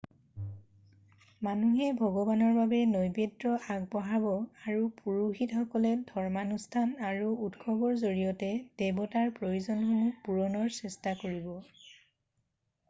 মানুহে ভগৱানৰ বাবে নৈবেদ্য আগবঢ়াব আৰু পুৰোহিতসকলে ধৰ্মানুষ্ঠান আৰু উৎসৱৰ জৰিয়তে দেৱতাৰ প্ৰয়োজনসমূহ পূৰণৰ চেষ্টা কৰিব